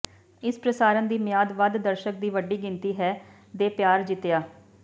ਇਸ ਪ੍ਰਸਾਰਣ ਦੀ ਮਿਆਦ ਵੱਧ ਦਰਸ਼ਕ ਦੀ ਵੱਡੀ ਗਿਣਤੀ ਹੈ ਦੇ ਪਿਆਰ ਜਿੱਤਿਆ